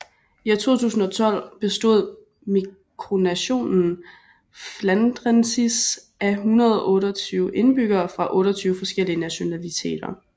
I 2012 bestod mikronationen Flandrensis af 128 indbyggere fra 28 forskellige nationaliteter